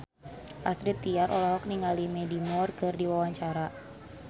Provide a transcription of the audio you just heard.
Astrid Tiar olohok ningali Mandy Moore keur diwawancara